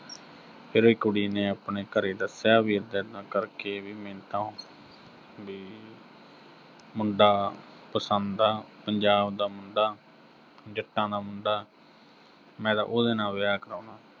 ਉਹ ਕੁੜੀ ਨੇ ਆਪਣੇ ਘਰੇ ਦੱਸਿਆ ਵੀ ਏਦਾਂ-ਏਦਾਂ ਕਰਕੇ ਵੀ ਮੈਨੂੰ ਤਾਂ, ਵੀ ਮੁੰਡਾ ਪਸੰਦ ਆ, ਪੰਜਾਬ ਦਾ ਮੁੰਡਾ, ਜੱਟਾਂ ਦਾ ਮੁੰਡਾ, ਮੈਂ ਤਾਂ ਉਹਦੇ ਨਾਲ ਵਿਆਹ ਕਰਵਾਉਣਾ।